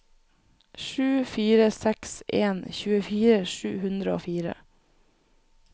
sju fire seks en tjuefire sju hundre og fire